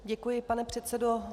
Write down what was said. Děkuji, pane předsedo.